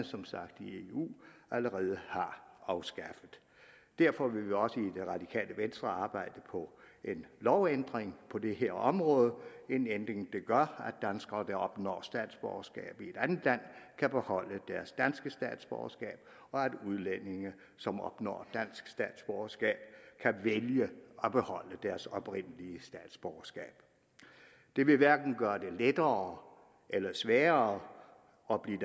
som sagt allerede har afskaffet derfor vil vi også i radikale venstre arbejde på en lovændring på det her område en ændring der gør danskere der opnår statsborgerskab i et andet land kan beholde deres danske statsborgerskab og at udlændinge som opnår dansk statsborgerskab kan vælge at beholde deres oprindelige statsborgerskab det vil hverken gøre det lettere eller sværere at blive